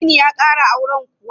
Dini ya ƙara auren kuwa?